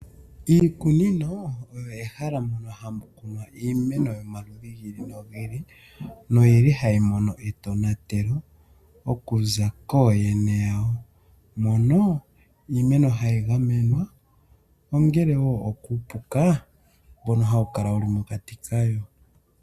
Iikunino ,oyo ehala mono hamu kunwa iimeno yo maludhi giili nogiili noyili hayi mono etonatelo okuza kooyene yawo ,mono iimeno hayi gamenwa ongele wo okuupuka, mbono hawu kala mokati kayo.